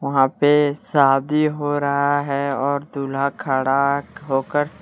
वहां पे शादी हो रहा है और दूल्हा खड़ा होकर।